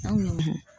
Awɔ